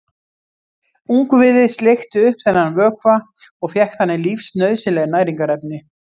Ungviðið sleikti upp þennan vökva og fékk þannig lífsnauðsynleg næringarefni.